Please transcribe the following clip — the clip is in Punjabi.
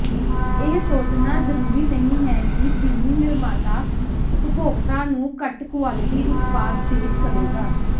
ਇਹ ਸੋਚਣਾ ਜ਼ਰੂਰੀ ਨਹੀਂ ਹੈ ਕਿ ਚੀਨੀ ਨਿਰਮਾਤਾ ਉਪਭੋਗਤਾ ਨੂੰ ਘੱਟ ਕੁਆਲਟੀ ਉਤਪਾਦ ਪੇਸ਼ ਕਰੇਗਾ